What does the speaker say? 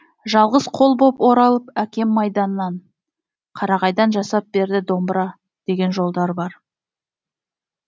жалғыз қол боп оралып әкем майданнан қарағайдан жасап берді домбыра деген жолдар бар